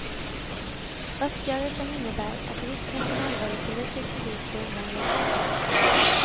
Uppgörelsen innebär att risken för en allvarlig politisk kris har undanröjts.